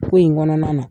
Ko in kɔnɔna na